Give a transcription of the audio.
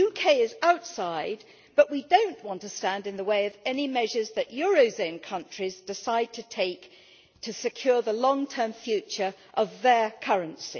The UK is outside, but we do not want to stand in the way of any measures that eurozone countries decide to take to secure the long term future of their currency.